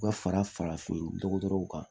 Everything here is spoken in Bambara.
U ka fara farafin dɔgɔtɔrɔw kan